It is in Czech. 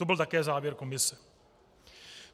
To byl také závěr komise.